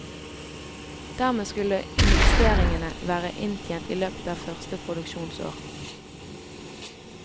Dermed skulle investeringene være inntjent i løpet av første produksjonsår.